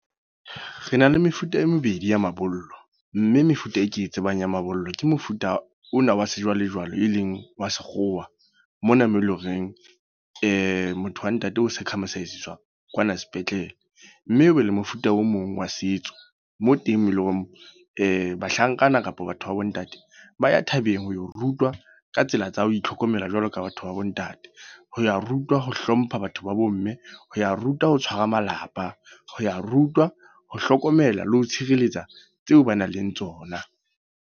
Re na le mefuta e mebedi ya mabollo. Mme mefuta e ke e tsebang ya mabollo. Ke mofuta ona wa sejwalejwale e leng wa sekgowa. Mona moo e le horeng motho wa ntate o circumcise-tswa kwana sepetlele. Mme o be le mofuta o mong wa setso. Moo teng eleng bahlankana kapa batho ba bo ntate, ba ya thabeng ho rutwa ka tsela tsa ho itlhokomela jwalo ka batho ba bo ntate. Ho ya rutwa ho hlompha batho ba bo mme, ho ya rutwa ho tshwara malapa, ho ya rutwa ho hlokomela le ho tshireletsa tseo ba nang le tsona.